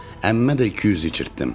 Əmmə də 200 içirtdim.